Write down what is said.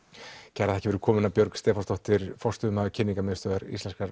kærar þakkir fyrir komuna Björg Stefánsdóttir forstöðumaður kynningarmiðstöðvar íslenskrar